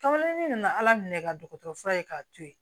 Tɔnden nana ala minɛ ka dɔgɔtɔrɔ fura ye k'a to ye